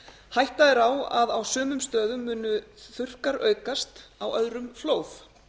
hætta er á að á sumum stöðum muni þurrkar aukast á öðrum flóð